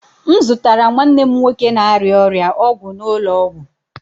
M zụtara nwanne m nwoke na-arịa ọrịa ọgwụ n'ụlọ ọgwụ.